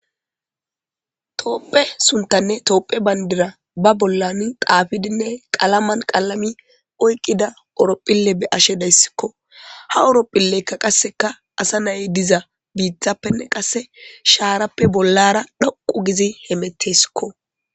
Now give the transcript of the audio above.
toopphe suntanne toophe bayndira ba bollan daafidinne qalaman qalami oyqqida orophille be ashe dayssikko ha awropphilleykka qasseka asa naye diza biithappenne qasse shaarappe bollara dhoqu gizi hemetesikko